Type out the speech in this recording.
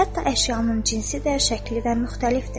Hətta əşyanın cinsidir, şəkli də müxtəlifdir.